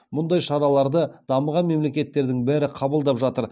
мұндай шараларды дамыған мемлекеттердің бәрі қабылдап жатыр